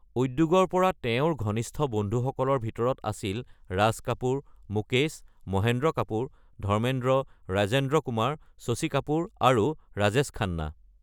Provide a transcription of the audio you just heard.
উদ্যোগৰ পৰা তেওঁৰ ঘনিষ্ঠ বন্ধুসকলৰ ভিতৰত আছিল ৰাজ কাপুৰ, মুকেশ, মহেন্দ্ৰ কাপুৰ, ধৰ্মেন্দ্ৰ, ৰাজেন্দ্ৰ কুমাৰ, শশী কাপুৰ আৰু ৰাজেশ খান্না।